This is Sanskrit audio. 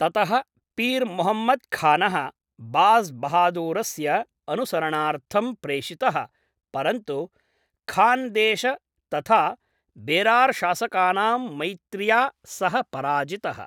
ततः पीर् मुहम्मद् खानः, बाज़् बहादूरस्य अनुसरणार्थं प्रेषितः, परन्तु खान्देश् तथा बेरार् शासकानां मैत्र्या सः पराजितः।